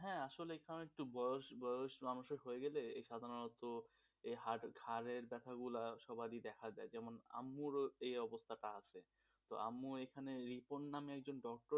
হ্যাঁ আসলে এখানে একটু বয়স বয়স মানুষের হয়ে গেলে সাধারণত এই হাড় হাড়ের ব্যাথাগুলা সবারই দেখা যায় যেমন আম্মুরও এই অবস্থাটা আছে তো আম্মু এখানে রিপন নামে একজন doctor